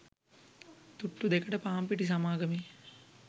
තුට්ටු දෙකට පාන්පිටි සමාගමේ